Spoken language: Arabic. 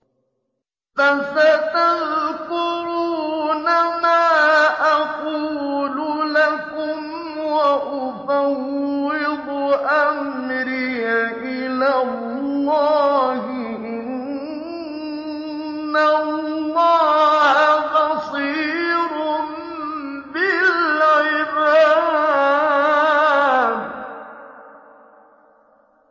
فَسَتَذْكُرُونَ مَا أَقُولُ لَكُمْ ۚ وَأُفَوِّضُ أَمْرِي إِلَى اللَّهِ ۚ إِنَّ اللَّهَ بَصِيرٌ بِالْعِبَادِ